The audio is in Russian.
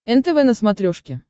нтв на смотрешке